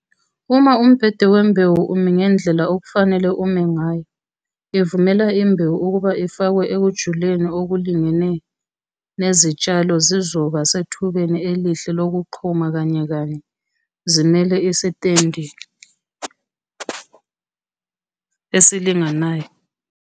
Uma umbhede wembewu umi ngendlela okufanele ume ngayo, ivumela imbewu ukuba ifakwe ekujuleni okulingene nezitshalo zizoba sethubeni elihle lokuqhuma kanyekanye zimele isitendi esilinganayo.